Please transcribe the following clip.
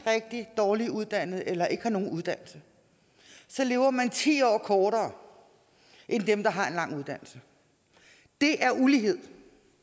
rigtig dårligt uddannet eller ikke har nogen uddannelse lever man ti år kortere end dem der har en lang uddannelse det er ulighed